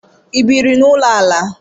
Ị biiri n'ụlọ ala?